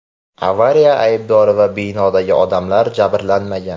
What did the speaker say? Avariya aybdori va binodagi odamlar jabrlanmagan.